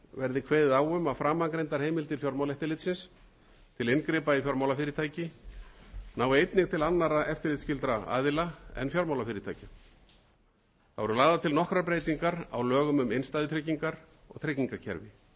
verði kveðið á um að framangreindar heimildir fjármálaeftirlitsins til inngripa í fjármálafyrirtæki nái einnig til annarra eftirlitsskyldra aðila en fjármálafyrirtækja þá eru lagðar til nokkrar breytingar á lögum um innstæðutryggingar og tryggingakerfi þær